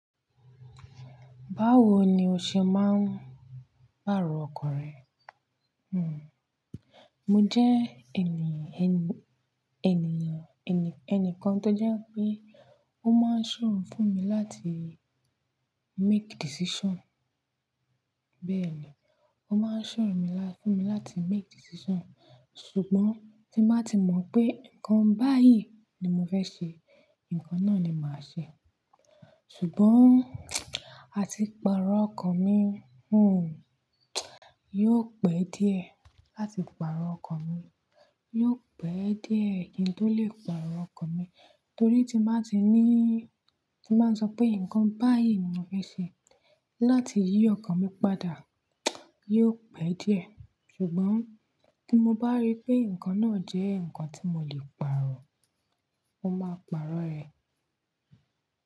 Báwo ni o ṣe máa ń pàrọ̀ ọkọ rẹ? Mo jẹ́ ènì, ẹni, ènìyàn, ẹnìkan tó jẹ́ pé ó máa ń ṣòro fún mi láti make decision. Bẹ́ẹ̀ ni, ó máa ń ṣòro mi lá, fún mi láti make decision. Ṣùgbọ́n tí bá ti mọ̀ pé nǹkan báyìí ni mo fẹ́ ṣe, nǹkan náà ni màá ṣe. Ṣùgbọ́n àti pàrọ̀ ọkọ mi yóò pẹ́ díẹ̀ láti pàrọ̀ ọkọ mi. Yóò pẹ́ díẹ̀ kí n tó lè pàrọ̀ ọkọ mi, torí tí màá ti níí, tí màá sọ pé nǹkan báyìí ni mo fẹ́ ṣe láti yí ọkọ mi padà, yóò pẹ́ díẹ̀. Ṣùgbọ́n tí mo bá rí pé nǹkan náà jẹ́ nǹkan tí mo lè pàrọ̀, mo máa pàrọ̀ rẹ̀.